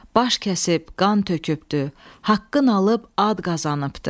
Baş kəsib, qan tökübdü, haqqın alıb ad qazanıbdı.